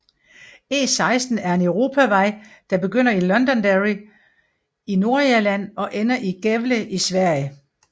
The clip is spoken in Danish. E16 er en europavej der begynder i Londonderry i Nordirland og ender i Gävle i Sverige